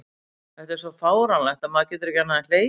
Þetta er svo fáránlegt að maður getur ekki annað en hlegið.